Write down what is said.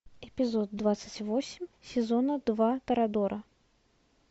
эпизод двадцать восемь сезона два торадора